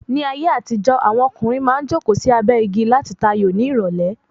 Ní ayé àtijó, Àwọn ọkùnrin maá n joko sí abé igi lati ta ayò ní ìrọ̀lé